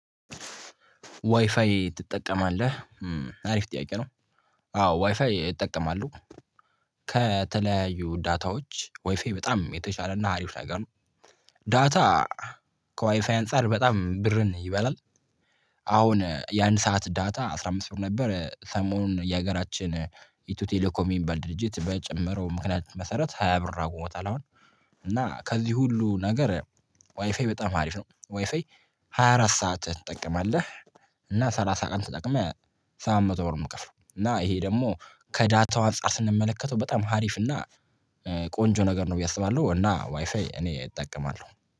ዋይፋይ ትጠቀማለህ አሪፍ ጥያቄ ነው? አዎ ዋይፋይ እጠቀማለሁ። ከተለያዩ ዳታዎች ዋይፋይ በጣም የተሻለ እና አሪፍ ነገር ነው። ዳታ ከዋይፋይ አንፃር በጣም ብርን ይበላል። አሁን የአንድ ሰዓት ዳታ አስራ አምስት ብር ነበር ሰሞኑን የሀገራችን ኢትዮ ቴሌኮም የሚባል ድርጅት በጨመረው ምክንያት መሰረት ሃያ ብር አድርጎታል። አሁን እና ከዚህ ሁሉ ነገር ዋይፋይ በጣም አሪፍ ነው። ዋይፋይ ሃያ አራት ሰዓት ትጠቀማለህ? እና ሰላሳ ቀን ተጠቅመህ ሰባት መቶ ብር የምከፍለው እና ይሄ ደግሞ ከዳታው አንፃር ስንመለከተው በጣም አሪፍ እና ቆንጆ ነገር ነው ብዬ አስባለሁ። እና ዋይፋይ እኔ እጠቀማለሁ